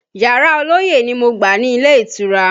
Yàrá ọlọ́yẹ́ ni mo gbà ní ilé ìtura